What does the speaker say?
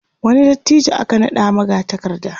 wani dattijo aka naɗa magatakarda